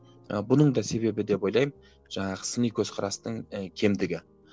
ы бұның да себебі деп ойлаймын жаңағы сыни көзқарастың і кемдігі